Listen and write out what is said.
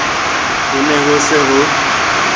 ho ne ho se ho